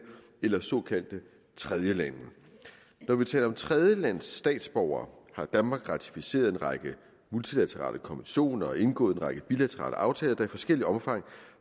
eller såkaldte tredjelande når vi taler om tredjelandsstatsborgere har danmark ratificeret en række multilaterale konventioner og indgået en række bilaterale aftaler der i forskelligt omfang